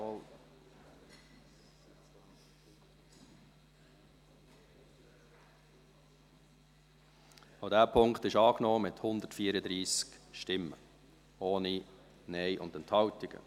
Auch dieser Punkt wurde angenommen, mit 134 Stimmen, ohne Nein-Stimmen und Enthaltungen.